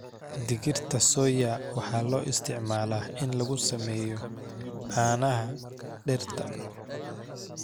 Digirta soya waxaa loo isticmaalaa in lagu sameeyo caanaha dhirta.